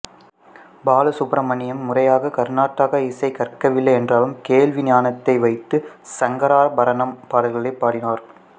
பாலசுப்பிரமணியம் முறையாக கர்நாடக இசையைக் கற்கவில்லை என்றாலும் கேள்வி ஞானத்தை வைத்து சங்கராபரணம் பாடல்களைப் பாடினார்